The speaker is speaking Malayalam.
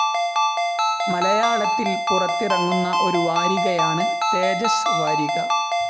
മലയാളത്തിൽ പുറത്തിറങ്ങുന്ന ഒരു വാരികയാണ് തേജസ് വാരിക.